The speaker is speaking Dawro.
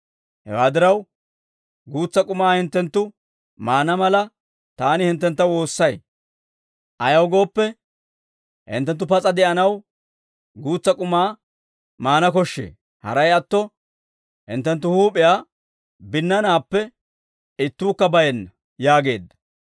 Hewaa diraw, guutsa k'umaa hinttenttu maana mala, taani hinttentta woossay; ayaw gooppe, hinttenttu pas'a de'anaw guutsa k'umaa maana koshshee; haray atto hinttenttu huup'iyaa binnanaappe ittuukka bayenna» yaageedda.